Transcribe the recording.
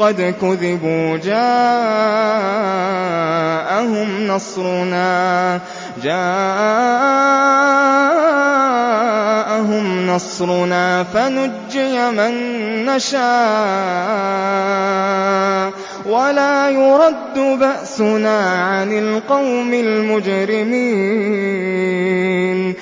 قَدْ كُذِبُوا جَاءَهُمْ نَصْرُنَا فَنُجِّيَ مَن نَّشَاءُ ۖ وَلَا يُرَدُّ بَأْسُنَا عَنِ الْقَوْمِ الْمُجْرِمِينَ